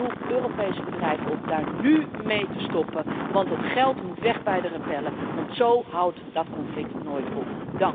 Ik roep Europese bedrijven op daar nu mee te stoppen, want het geld moet weg bij de rebellen anders houdt dat conflict nooit op.